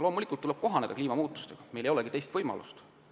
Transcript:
Loomulikult tuleb kliimamuutustega kohaneda, meil ei ole teist võimalustki.